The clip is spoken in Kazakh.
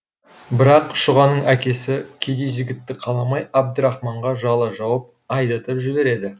бірақ шұғаның әкесі кедей жігітті қаламай әбдірахманға жала жауып айдатып жібереді